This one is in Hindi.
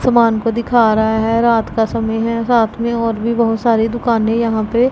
समान को दिखा रहा है रात का समय है साथ में और भी बहुत सारी दुकाने यहां पे--